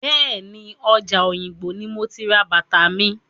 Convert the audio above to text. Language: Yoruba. Bẹ́ẹ̀ni, ọjà Òyìngbò ní mo ti ra bàtà mi.